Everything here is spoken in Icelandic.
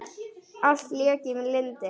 Allt lék í lyndi.